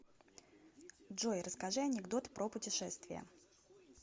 джой расскажи анекдот про путешествия